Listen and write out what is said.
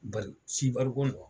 Bari si barigɔn na.